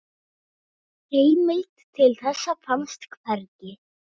Heimild til þessa finnst hvergi.